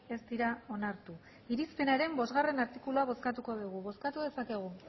ez dira onartu irizpenaren bostgarrena artikulua bozkatuko dugu bozkatu dezakegu